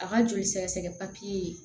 A ka joli sɛgɛsɛgɛ papiye